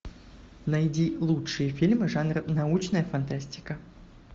найди лучшие фильмы жанра научная фантастика